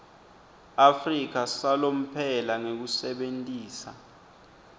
afrika salomphelo ngekusebentisa